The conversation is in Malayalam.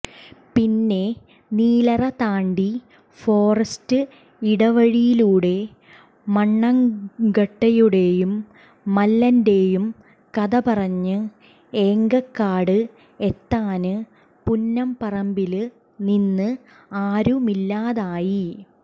പിന്നെ നീലറ താണ്ടി ഫോറസ്റ്റിടവഴിയിലൂടെ മണ്ണാങ്കട്ടയുടേയും മല്ലന്റേയും കഥപറഞ്ഞ് എങ്കക്കാട് എത്താന് പുന്നംപറമ്പില് നിന്ന് ആരുമില്ലാതായി